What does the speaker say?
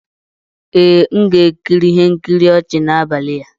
Ee, m ga-ekiri ihe nkiri ọchị n'abalị a